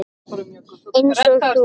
Einsog þú.